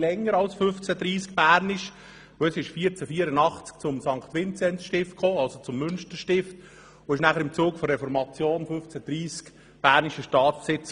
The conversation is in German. Bereits 1484 kam es zum St. Vinzenzstift, also zum Münsterstift, und im Zug der Reformation wurde es 1530 bernischer Staatsbesitz.